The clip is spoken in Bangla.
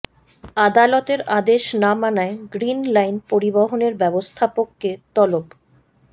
আদালতের আদেশ না মানায় গ্রিন লাইন পরিবহনের ব্যবস্থাপককে তলব